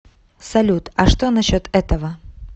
салют а что насчет этого